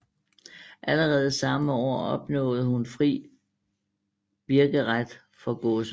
Allerede samme år opnåede hun fri birkeret for godset